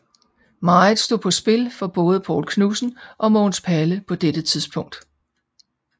Meget stod på spil for både Poul Knudsen og Mogens Palle på dette tidspunkt